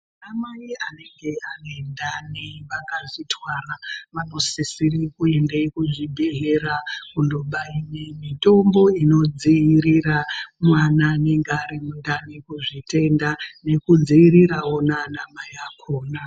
Anamai anenge ane ndani akazvitwara vanosisire kuenda kuzvibhedhlera kundobairwe mitombo inodzivirira mwana anenge arimundani ,kuzvitenda nekudziirira naanamai akona.